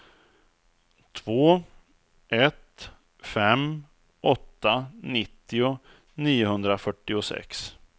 två ett fem åtta nittio niohundrafyrtiosex